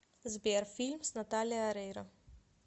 сбер фильм с наталия орейро